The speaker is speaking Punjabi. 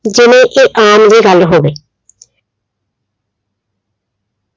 ਜਿਵੇਂ ਇਹਆਮ ਜਿਹੀ ਗੱਲ ਹੋਵੇ।